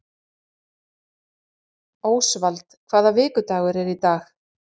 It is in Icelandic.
Ósvald, hvaða vikudagur er í dag?